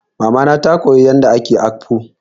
Mama na ta koya yadda ake akpu.